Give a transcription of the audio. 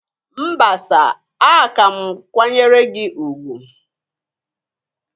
Mba sir, a ka m kwanyere gi ugwu